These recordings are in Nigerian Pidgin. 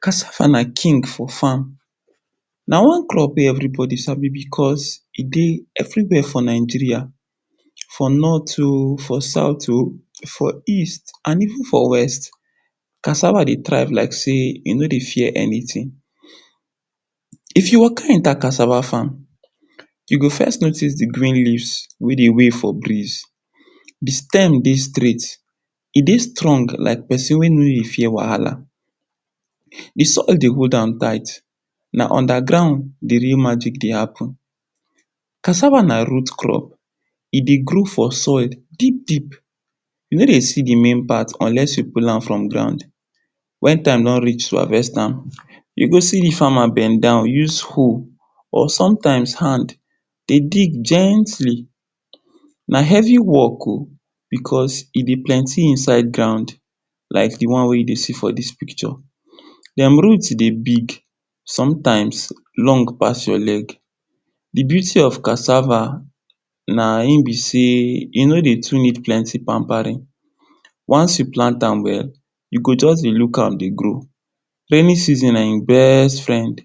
Kasava na king for fam, na one crop wey everibodi sabi bicos e dey everi where for Nigeria. For North o, for South o, for East o and even for West. Kasave dey strive like sey e no dey fear eni tin. If you waka enta kasava fam, you go first notis di green leaf wey dey wey for briz, di stem dey straight, e dey strong like pesin wey no dey fear wahala, di soil dey go down tight, na unda ground di real magic dey happen. Kasava na root crop, e ey grow for soil deep, you no dey see di main part unless you pul am for gorund. Wen time don rich to havest am, you go see di fama bend down use hoe or somtims hand dey dig gently! Na hevi work o. bicos e dey plenti inside ground like di one wey you dey see for dis pikcho. Dm root dey big, sometimes, long pas your leg. Di beauty of kasava na in be sey, e no dey too need plenti panparin. Once you plant am well, you go just dey luk am ey grow. Rainin season na in best frend,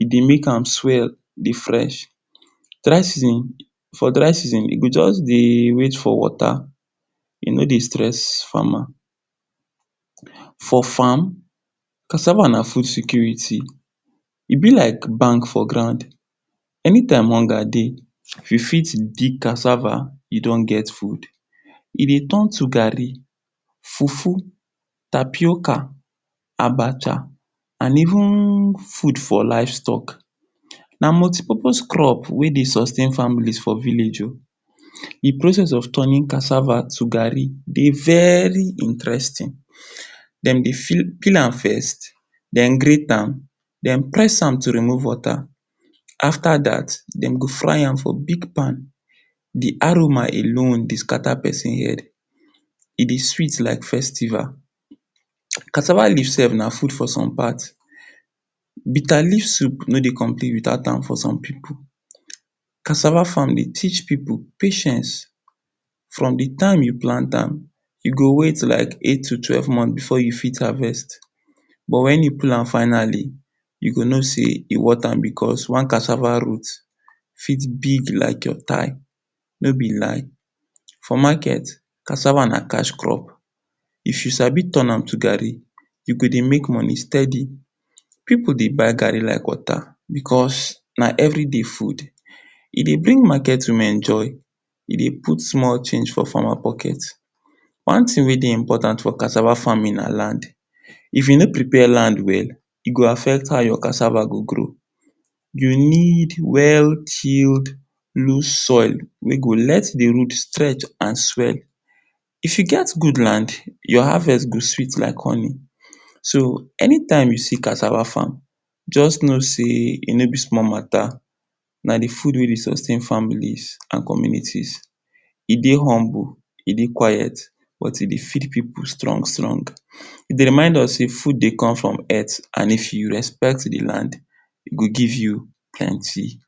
e dey make am swell, fresh. Dry season, for dry season, e go just dey wait for wota. E no dey stress fama. For fam, kasava na fud security, e be like bank for ground. Enitime hunga dey, ypu fit dig kasava, you don get fud, e dey ton to gari, fufu, tapioca, abacha and even fud for lifestock. Na multipopos crop wey dey sustain famili for village o. Di process of tonin kasava to gari dey veri interestin, dem dey pill am first, dem great am, den press am to remove wota. Afta dat, dem go fry am for big pan, di aroma alone dey skata pesin head, e dey sweet like festival. Kasava leaf sef na fud for som pat, bita leaf sup no dey complit without am for som pipu. Kasava fam dey teach pipu patience, from di time you plant am, you go wait for like eight to twelve month before you fit havest but wen you pull am finally, you go no sey e worth am bicos one kasava root fit big like your tigh, no be lie, for maket, kasava na cash crop, if you sabi ton am to gari, you go dey make moni stedi, pipu dey buy gari like wota bicos na everi day fud. E dey bring maket women joy, e dey put small change for fama poket. One tin wey dey impotant for kasava famin na land, if you no prepare land well, e go affect how your kasava go grow, you need well chilled loose soil wey go let di root straight and swell. If you get gud land, your havest go sweet like honi, so, enitime you see kasava fam, just no sey, e no be small mata, na di fud wey dey sustain familis and communitis. E dey humble, e dey quit but e dey feed pipu strong-strong. E dey remind us say fud dey come from earth, and if you respect di land, e go give you plenti.